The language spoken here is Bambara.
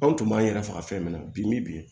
Anw tun b'an yɛrɛ faga fɛn min na bi ni bi